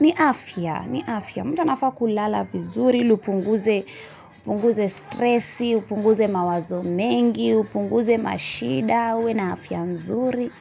ni afya, ni afya. Mtu anafaa kulala vizuri, ili upunguze, upunguze stressi, upunguze mawazo mengi, upunguze mashida, uwe na afya nzuri.